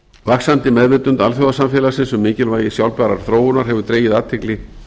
vaxandi meðvitund alþjóðasamfélagsins um mikilvægi sjálfbærrar þróunar hefur dregið athygli